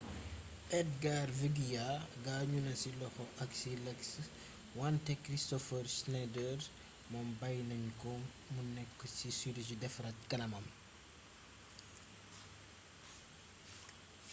edgar veguilla gaañu na ci loxo ak ci lexx wanté kristofer schneider mom bay nañ ko mu nekk ci sirurgi defaraat kanamam